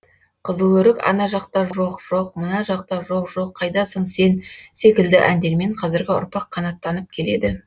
қызыл өрік ана жақта жоқ жоқ мына жақта жоқ жоқ қайдасың сен секілді әндермен қазіргі ұрпақ қанаттанып келеді